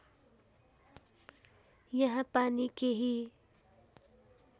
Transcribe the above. यहाँ पानी केही